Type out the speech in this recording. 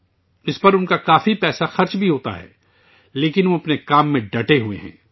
وہ اس پر کافی پیسہ بھی خرچ کرتے ہیں، لیکن وہ اپنے کام میں مستقل مزاج ہیں